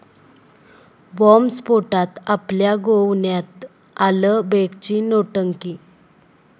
बॉम्बस्फोटात आपल्या गोवण्यात आलं, बेगची नौटंकी